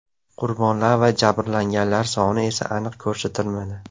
Qurbonlar va jabrlanganlar soni esa aniq ko‘rsatilmadi.